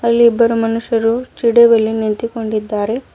ಇಲ್ಲಿ ಇಬ್ಬರು ಮನುಷ್ಯರು ಚೀಡಿ ಬಳಿ ನಿಂತಿಕೊಂಡಿದ್ದರೆ.